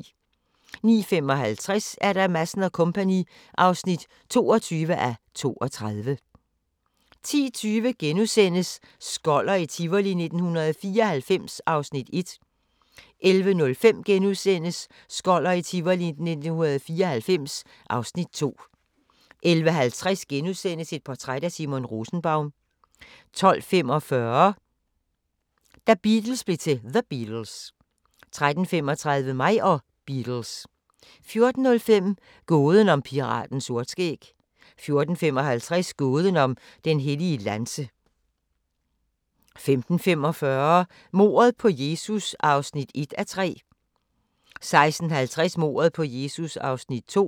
09:55: Madsen & Co. (22:32) 10:20: Skoller i Tivoli 1994 (1:2)* 11:05: Skoller i Tivoli 1994 (2:2)* 11:50: Et portræt af Simon Rosenbaum * 12:45: Da Beatles blev til The Beatles 13:35: Mig og Beatles 14:05: Gåden om piraten Sortskæg 14:55: Gåden om den hellige lanse 15:45: Mordet på Jesus (1:3) 16:30: Mordet på Jesus (2:3)